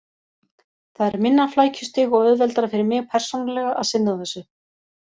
Það er minna flækjustig og auðveldara fyrir mig persónulega að sinna þessu.